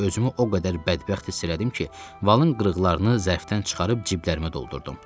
Özümü o qədər bədbəxt hiss elədim ki, valın qırıqlarını zərfdən çıxarıb ciblərimə doldurdum.